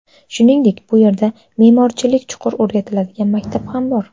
Shuningdek, bu yerda me’morchilik chuqur o‘qitiladigan maktab ham bor.